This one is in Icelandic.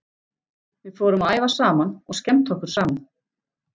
Við fórum að æfa saman og skemmta okkur saman.